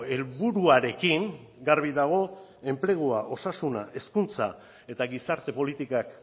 helburuarekin garbi dago enplegua osasuna hezkuntza eta gizarte politikak